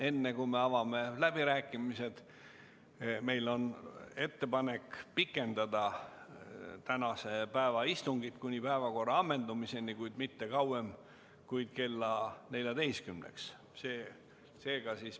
Enne kui avame läbirääkimised, on meil ettepanek pikendada tänast istungit kuni päevakorra ammendumiseni, kuid mitte kauem kui kella 14-ni.